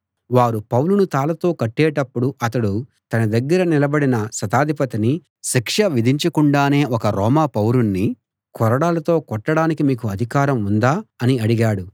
వారు పౌలును తాళ్ళతో కట్టేటప్పుడు అతడు తన దగ్గర నిలబడిన శతాధిపతిని శిక్ష విధించకుండానే ఒక రోమా పౌరుణ్ణి కొరడాలతో కొట్టడానికి మీకు అధికారం ఉందా అని అడిగాడు